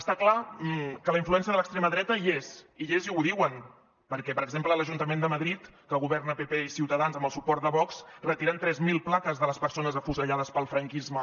està clar que la influència de l’extrema dreta hi és hi és i ho diuen perquè per exemple a l’ajuntament de madrid en què governa pp i ciutadans amb el suport de vox retiren tres mil plaques de les persones afusellades pel franquisme